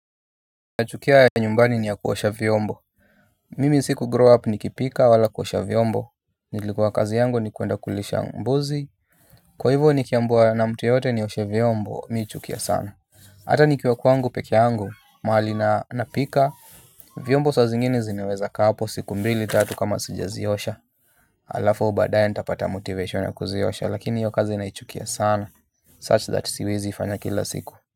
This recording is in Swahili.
Nachukia ya nyumbani ni ya kuosha vyombo. Mimi si ku grow up ni kipika wala kuosha vyombo. Nilikuwa kazi yangu ni kuenda kulisha mbuzi. Kwa hivyo ni kiambia na mtu yeyote nioshe vyombo mimi huchukia sana. Hata nikiwa kwangu pekee yangu mahali na napika vyombo saa zingine zinaweza kaa hapo siku mbili tatu kama sijaziosha. Halafa badaye nitapata motivation ya kuziosha lakini hiyo kazi na ichukia sana Such that siwezi ifanya kila siku. Kwa hiyo.